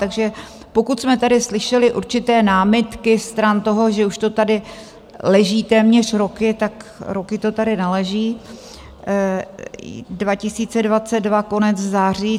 Takže pokud jsme tady slyšeli určité námitky stran toho, že už to tady leží téměř roky, tak roky to tady neleží - 2022, konec září.